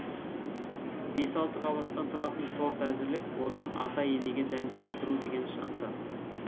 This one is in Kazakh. бес алты қабаттан тұратын торт әзірлеп одан ата енеге дәм тарттыру деген шықты